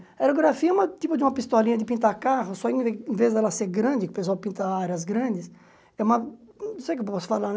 Aerografia é uma tipo de uma pistolinha de pintar carro, só em em vez dela ser grande, o pessoal pinta áreas grandes, é uma... Não sei o que posso falar né.